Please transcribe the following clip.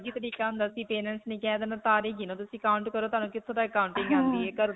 ਅਲਗ ਹੀ ਤਰੀਕਾ ਹੁੰਦਾ ਸੀ. parents ਨੇ ਕਹਿ ਦੇਣਾ ਤਾਰੇ ਗਿਨੋ ਤੁਸੀਂ, count ਕਰ, ਤੁਹਾਨੂੰ ਕਿੱਥੇ ਤੱਕ counting ਆਉਂਦੀ ਹੈ.